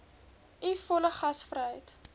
u volle gasvryheid